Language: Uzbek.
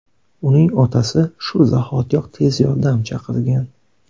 Uning otasi shu zahotiyoq tez yordam chaqirgan.